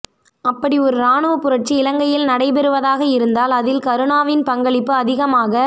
அப்படி ஒரு இராணுவ புரட்சி இலங்கையில் நடைபெறுவதாக இருந்தால் அதில் கருணாவின் பங்களிப்பு அதிகமாக